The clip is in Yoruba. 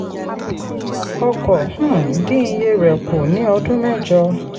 ọkọ̀ um dín iye rẹ̀ kù ní ọdún mẹ́jọ.